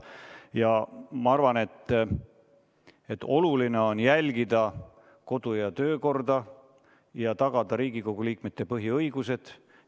Ja ma arvan, et oluline on jälgida kodu- ja töökorda ning tagada Riigikogu liikmete põhiõigused.